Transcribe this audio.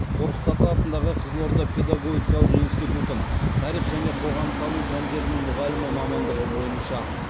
қорқыт ата атындағы қызылорда педагогикалық институтын тарих және қоғамтану пәндерінің мұғалімі мамандығы бойынша